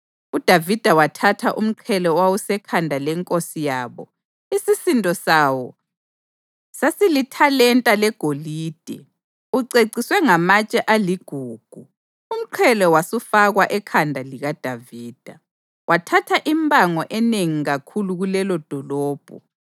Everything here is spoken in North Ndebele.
UDavida wathatha umqhele owawusekhanda lenkosi yabo isisindo sawo sasilithalenta legolide, uceciswe ngamatshe aligugu, umqhele wasufakwa ekhanda likaDavida. Wathatha impango enengi kakhulu kulelodolobho,